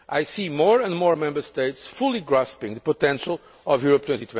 I see more and more Member States fully grasping the potential of Europe